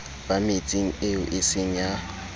ba metseng eo eseng ya